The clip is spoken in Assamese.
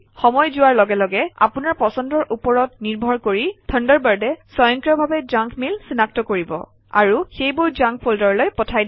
সময় যোৱাৰ লগে লগে আপোনাৰ পছন্দৰ ওপৰত নিৰ্ভৰ কৰি থাণ্ডাৰবাৰ্ডে স্বয়ংক্ৰিয়ভাৱে জাংক মেইল চিনাক্ত কৰিব আৰু সেইবোৰ জাংক ফল্ডাৰলৈ পঠাই দিব